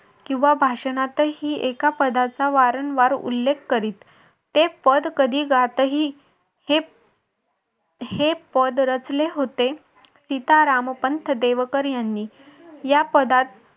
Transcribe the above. किंवा भाषणातही एका पदाचा वारंवार उल्लेख करीत. ते पद कधी गातही हे हे पद रचले होते सीतारामपंत देवकर यांनी या पदात